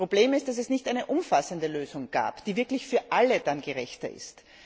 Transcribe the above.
Das Problem ist, dass es nicht eine umfassende Lösung gibt, die wirklich für alle gerechter ist.